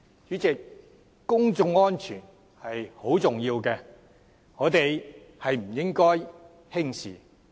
主席，公眾安全很重要，我們不應輕視。